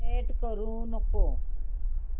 select करू नको